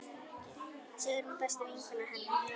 Sigrún besta vinkona hennar.